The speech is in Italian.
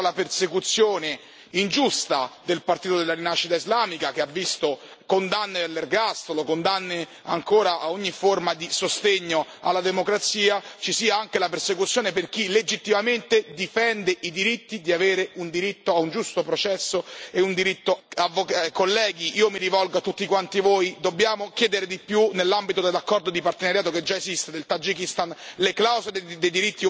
Noi non possiamo permettere che, oltre alla persecuzione ingiusta del partito della Rinascita islamica, che ha visto condanne all'ergastolo, condanne ancora a ogni forma di sostegno alla democrazia, ci sia anche la persecuzione di chi legittimamente difende i diritti di avere un diritto a un giusto processo e un diritto alla difesa. Onorevoli colleghi, io mi rivolgo a tutti quanti voi dobbiamo chiedere di più nell'ambito dell'accordo di partenariato che già esiste con il Tagikistan.